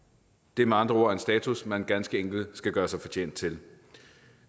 det er med andre ord en status man ganske enkelt skal gøre sig fortjent til